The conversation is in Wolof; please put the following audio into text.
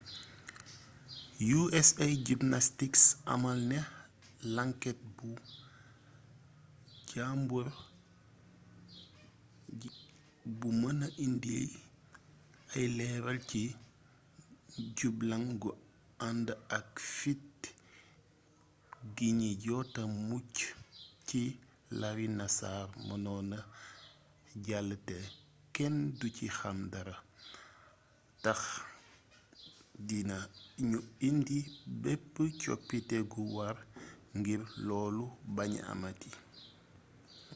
usa gymnastics amal na lànket bu jàmbure bu mëna indi ay leeral ci jublang gu ànd ak fit gi ñi jota mucc ci larry nassar mënoon na jàll te kenn du ci xam dara tax dina ñu indi bépp coppite gu war ngir loolu baña amati